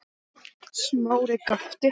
Smári gapti.